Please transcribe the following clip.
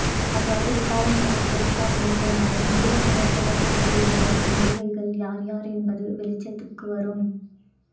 அவ்வாறு விசாரணையை போலீசார் மேற்கொண்டால் முருகனுடன் தொடர்பு கொண்டிருந்த நடிகைகள் யார் யார் என்பது வெளிச்சத்துக்கு வரும்